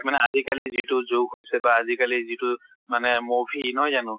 মানে আজি কালি যিটো যুগ হৈছে, বা আজি কালি যিটো মানে movie, নহয় জানো?